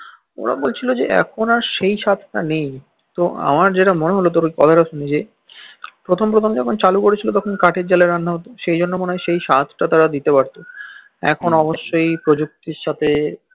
অরা বলছিল যে এখন আর সেই স্বাদ টা নেই তো আমার জেতা মনে হল তোর কথাটা সুয়ে প্রথম প্রথম যখন চালু করেছিল তখন কাঠের জালে রান্না হত তখন হইত সেই স্বাদ টা তারা দিতে পারত এখন অবশ্য প্রজুক্তির সাথে